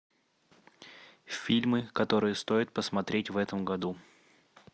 фильмы которые стоит посмотреть в этом году